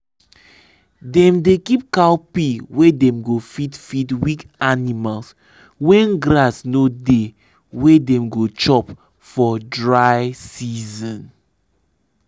dem dey keep cowpea wey dem go fit feed weak animals when grass no dey wey dem go chop for dry season.